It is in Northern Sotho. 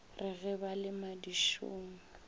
re ge ba le madišong